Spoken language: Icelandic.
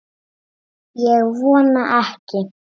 Ég vona ekki